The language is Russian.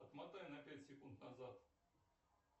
отмотай на пять секунд назад